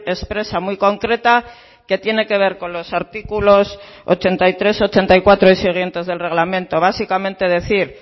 expresa muy concreta que tiene que ver con los artículos ochenta y tres ochenta y cuatro y siguientes del reglamento básicamente decir